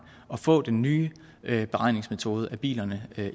og få den nye beregningsmetode af bilerne